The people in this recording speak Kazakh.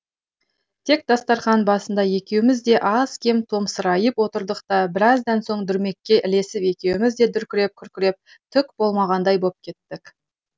тек дастарқан басында екеуміз де аз кем томсырайып отырдық та біраздан соң дүрмекке ілесіп екеуміз де дүркіреп күркіреп түк болмағандай боп кеттік